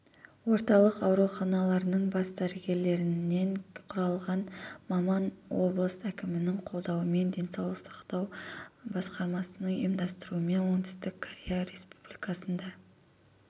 орталық ауруханаларының бас дәрігерлерінен құралған маманоблыс әкімінің қолдауымен денсаулық сақтау басқармасының ұйымдастырумен оңтүстік корея республикасына